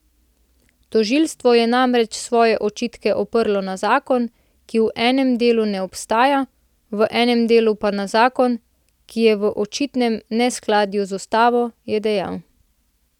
Tožilstvo je namreč svoje očitke oprlo na zakon, ki v enem delu ne obstaja, v enem delu pa na zakon, ki je v očitnem neskladju z ustavo, je dejal.